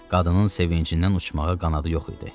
Qadının sevincindən uçmağa qanadı yox idi.